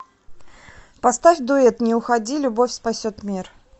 поставь дуэт не уходи любовь спасет мир